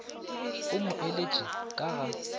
o mo eletše ka ga